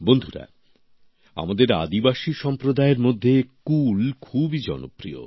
বন্ধুরা আমাদের আদিবাসী সম্প্রদায়ের মধ্যে কুল খুবই জনপ্রিয়